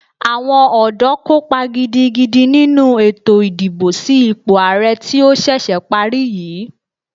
Àwọn ọ̀dọ́ kópa gidigidi nínu ètò ìdìbò sí ipò àrẹ tí ó ṣẹ̀ṣẹ̀ parí yìí.